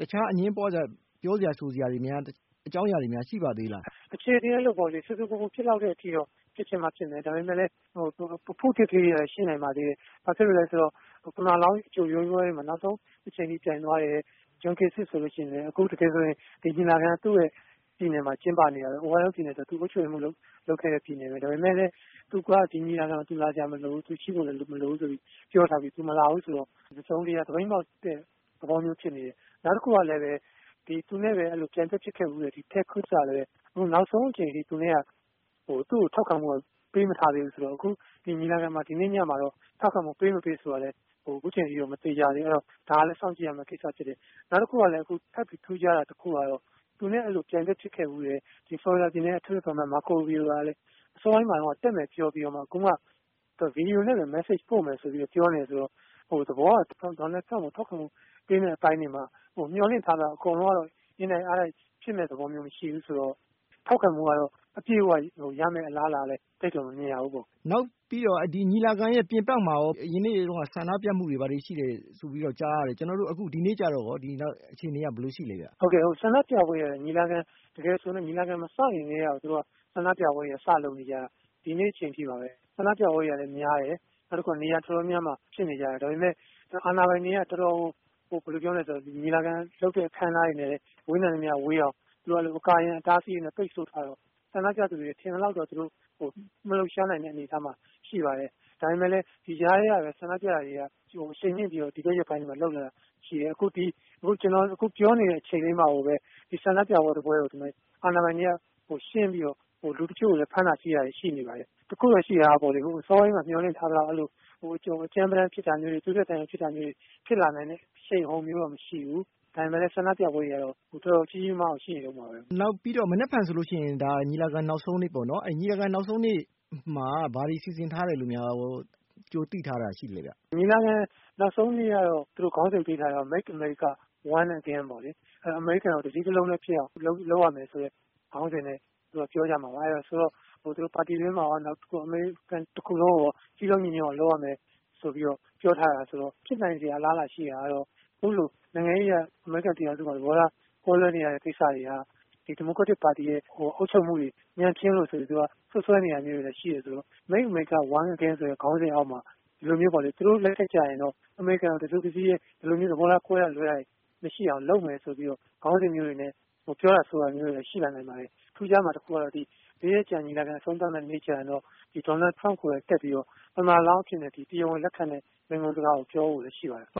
အငြင်းပွားစရာတွေ ပြောဆိုကြတာ ရှိသေးလား။ အခြေအနေကတော့ ဆူဆူပူပူ ဖြစ်လောက်တဲ့ အထိ ဖြစ်ချင်မှ ဖြစ်မယ်။ ဒါပေမယ့် အဖုအထစ် ကလေးတွေတော့ ရှိနိုင်ပါသေးတယ်။ ဘာဖြစ်လို့လဲ ဆိုတော့ သမ္မတလောင်း ရွေးပွဲတွေမှာ ဝင်ပြိုင်သွားတဲ့ John Kasich ဆိုရင် ဒီညီလာခံက သူ့ရဲ့ ပြည်နယ်မှာ ကျင်းပနေတာပဲ။ အိုဟိုင်းအိုး ပြည်နယ်က သူ အုပ်ချုပ်ရေးမှူး လုပ်ခဲ့တဲ့ ပြည်နယ်ပဲ။ ဒါပေမဲ့လည်း ဒီညီလာခံမှာ သူလာစရာ မလိုဘူး။ သူရှိဖို့ မလိုဘူးဆိုပြီး ပြောထားပြီး သူမလာဘူးဆိုတော့ တစုံတရာ သပိတ်မှောက်တဲ့ သဘောမျိုး ဖြစ်နေတယ်။ နောက်တခုကလည်းပဲ သူနဲ့ပြိုင်ဘက်ဖြစ်ခဲ့ဖူးတဲ့ Ted Cruz ကလည်းပဲ နောက်ဆုံးအချိန်အထိ သူ့ကို ထောက်ခံမှု ပေးမထားသေးဘူးဆိုတော့ အခု ဒီနေ့ညမှာ ထောက်ခံမှု ပေး မပေး ဆိုတာလည်း အခုအချိန်ထိတော့ မသေချာသေးဘူး။ ဒါကလည်း စောင့်ကြည့်ရမယ့် ကိစ္စဖြစ်တယ်။ နောက်တခုကလည်း ထပ်ပြီး ထူးခြားတာ တခုက သူနဲ့ ပြိုင်ဘက်ဖြစ်ခဲ့ဖူးတဲ့ Florida ပြည်နယ်က အထက်လွှတ်တော် အမတ် Marco Rubio ကလည်း အစောပိုင်းမှာတုန်းက တက်မယ်လို့ ပြောပြီးတော့ အခုမှ ဗွီဒီယိုနဲ့ပဲ မက်ဆေ့စ်ပို့မယ်လို့ ပြောနေတော့ သဘောကတော့ ဒေါ်နယ်ထရမ့်ကို ထောက်ခံမှု ပေးမယ့်အပိုင်းမှာ အားလုံးကတော့ မျှော်လင့်ထားသလောက် အင်တိုက်အားတိုက် ဖြစ်မယ်မထင်ဘူး။ ဆိုတော့ ထောက်ခံမှုကတော့ အပြည့်အ၀ ရမယ့် အလားအလာတော့ မမြင်ရဘူးပေါ့။ နောက်ပြီးတော့ ဒီ ညီလာခံရဲ့ ပြင်ပမှာကော့ အရင်နေ့တွေတုန်းက ဆန္ဒပြမှုတွေ ဘာတွေရှိတယ် ကြားရမယ်။ အခု ဒီနေ့မှာကော အခြေအနေက ဘယ်လိုရှိသလဲ ခင်ဗျ။ ဆန္ဒပြပွဲတွေကတော့ ညီလာခံ မစခင်ကတည်းကကို ဆန္ဒပြပွဲတွေကို လုပ်နေကြတာ ဒီနေ့အချိန်အထိပါပဲ။ ဒီဆန္ဒပြပွဲတွေကတော့ တော်တော့်ကို များတယ်။ နေရာ တော်တော်များများမှာ ဖြစ်နေကြတာ။ ဒါပေမဲ့ အာဏာပိုင်တွေက ညီလာခံလုပ်တဲ့ အခမ်းအနားတွေနဲ့ ဝေးနိုင်သမျှဝေးအောင် အကာအရံ အတားအဆီးတွေနဲ့ ကာရံပိတ်ဆို့ထားတော့ ဆန္ဒပြတဲ့သူတွေ ထင်သလောက်တော့ သူတို့မလှုပ်ရှားနိုင်တဲ့ အနေအထားမှာ ရှိပါတယ်။ ဒါပေမဲ့လည်း ဒီကြားထဲမှာပဲ အခုရက်ပိုင်းမှာ ဆန္ဒပြပွဲတွေက အရှိန်မြှင့်ပြီးတော့ လုပ်လာတာ ရှိပါတယ်။ အခု ကျနော်ပြောနေတဲ့ အချိန်အတွင်းမှာတင်ပဲ ဆန္ဒပြပွဲတပွဲကို အာဏာပိုင်တွေက ရှင်းပြီးတော့ လူတချို့ကို ဖမ်းတာဆီးတာတွေလည်း ရှိနေပါတယ်။ တခုရှိတာကတော့ စောစောပိုင်းမှာ မျှော်လင့်ထားသလိုမျိုး အကြမ်းပတမ်းဖြစ်တာမျိုး သွေးထွက်သံယို ဖြစ်တာတွေ ဖြစ်လာမယ့် အရှိန်အဟုန်မျိုးတော့ မရှိပါဘူး။ ဒါပေမဲ့လည်း ဆန္ဒပြပွဲတွေက တော်တော် ကြီးကြီးမားမားကို ရှိနေဆဲပါပဲ။ နောက်ပြီးတော့ မနက်ဖြတ်ဆိုလို့ရှိရင် ညီလာခံနောက်ဆုံးနေ့ပေါ့နော်။ ညီလာခံနောက်ဆုံးနေ့မှာ ဘာတွေ စီစဉ်ထားတယ်လို့များ ကြိုသိထားတာ ရှိသလဲ ခင်ဗျ။ ညီလာခံ နောက်ဆုံးနေ့မှာ သူတို့ နာမည်ပေးထားတာကတော့ Make America One Again ပေါ့။ အမေရိကန်ကို တစည်းတလုံးတည်းဖြစ်အောင် လုပ်ရမယ်ဆိုတဲ့ ခေါင်းစဉ်နဲ့ ပြောကြမှာပါ။ သူတို့က ပါတီတွင်းမှာကော အမေရိကန် တခုလုံးကိုရော စည်းလုံးညီညွတ်အောင် လုပ်ရမယ်ဆိုပြီးတော့ ပြောထားတာဆိုတော့ ဖြစ်နိုင်စရာ အလားအလာ ရှိတာကတော့ နိုင်ငံရေးအရ အမေရိကန်ပြည်ထောင်စုမှာ သဘောထားတွေ ကွဲလွဲတဲ့ ကိစ္စတွေက ဒီမိုကရက်ပါတီက အုပ်ချုပ်မှုတွေ ညံ့ဖျင်းလို့ဆိုပြီးတော့ စွပ်စွဲနေတာမျိုးတွေလည်း ရှိတယ်ဆိုတော့ Make America One Again ဆိုတဲ့ ခေါင်းစဉ်အောက်မှာ သူတို့လက်ထက်ကျရင်တော့ အမေရိကန်ကို တစုတစည်းတည်း ဒီလိုမျိုး သဘောထားကွဲတာ လွဲတာမျိုးတွေ မရှိအောင် လုပ်မယ်ဆိုပြီးတော့ ခေါင်းစဉ်မျိုးတွေနဲ့ ပြောတာဆိုတာတွေလည်း ရှိလာနိုင်ပါတယ်။ အခု ရှိတာကတော့ လေးရက်ကြာ ညီလာခံ အဆုံးသတ်တဲ့ နေ့ကျရင်တော့ ဒေါ်နယ်ထရမ့် ကိုယ်တိုင်တက်ပြီးတော့ သမ္မတလောင်းအဖြစ်နဲ့ တရားဝင် လက်ခံတဲ့ မိန့်ခွန်းစကားကို ပြောဖို့လည်း ရှိပါတယ်။